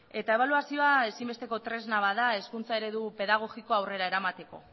eta ebaluazioa ezinbesteko tresna bat da hezkuntza eredu pedagogikoa aurrera eramateko